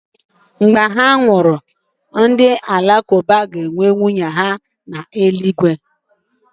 Ndị Alakụba kwesịrị ntụkwasị obi ga-enye nwunye n'eluigwe mgbe ha nwụrụ dịka nkwenye ha siri dị